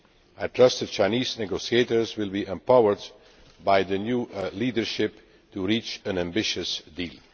I trust that the Chinese negotiators will be empowered by the new leadership to reach an ambitious deal.